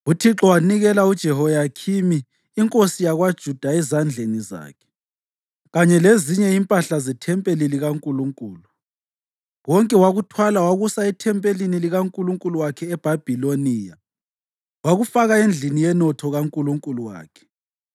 UThixo wanikela uJehoyakhimi inkosi yakwaJuda ezandleni zakhe, kanye lezinye impahla zethempeli likaNkulunkulu. Konke wakuthwala wakusa ethempelini likankulunkulu wakhe eBhabhiloniya wakufaka endlini yenotho kankulunkulu wakhe.